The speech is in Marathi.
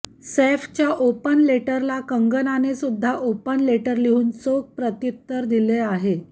सैफच्या ओपन लेटरला कंगनाने सुद्धा ओपन लेटर लिहुन चोख प्रतिउत्तर दिले आहे